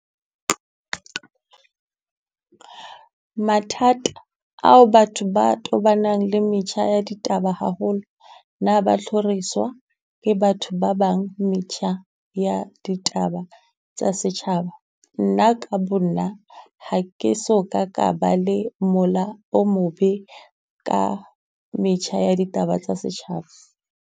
Mathata ao batho ba tobanang le metjha ya ditaba haholo, na ha ba tlhoriswa ke batho ba bang, metjha ya ditaba tsa setjhaba? Nna ka Bo nna ha ke so ka ka ba le mola o mobe, ka metjha ya ditaba tsa setjhaba.